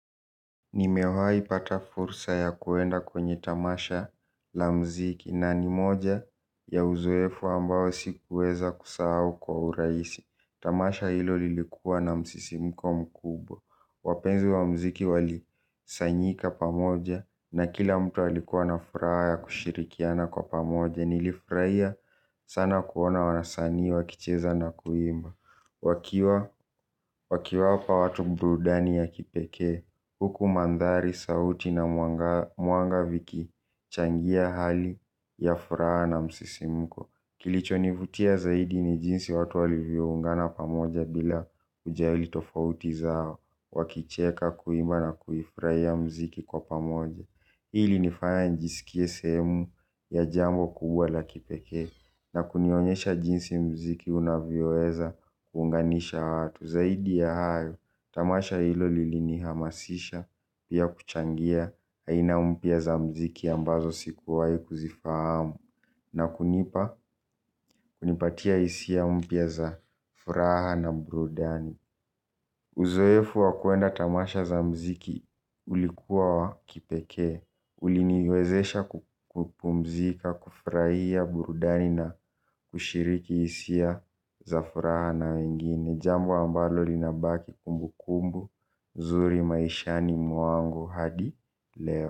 Nimewaipata fursa ya kuenda kwenye tamasha la mziki na ni moja ya uzoefu ambao sikuweza kusahau kwa uraisi. Tamasha hilo lilikuwa na msisimko mkubwa. Wapenzi wa mziki wali sanyika pamoja na kila mtu walikuwa na furaha ya kushirikiana kwa pamoja. Nilifraia sana kuona wanasaniwa kicheza na kuimba. Wakiwapa watu burudani ya kipekee huku mandhari sautu na mwangaza mwanga viki changia hali ya furaha na msisimuko. Kilicho nivutia zaidi ni jinsi watu walivyoungana pamoja bila uja ilitofauti zao. Wakicheka kuima na kuifraia mziki kwa pamoja. Hilinifaya njisikie sehemu ya jambo kubwa la kipeke. Na kunionyesha jinsi mziki unavyoweza kuunganisha watu. Zaidi ya hayo, tamasha hilo lilini hamasisha. Pia kuchangia, aina mpya za mziki ambazo sikuwai kuzifahamu. Na kunipa, kunipatia isia mpya za furaha na burudani. Uzoefu wakuenda tamasha za mziki ulikuwa wa kipeke. Uli niwezesha kupumzika, kufraia burudani na kushiriki isia, zafuraha na wengine. Jambo ambalo linabaki kumbu kumbu, zuri maishani mwangu hadi leo.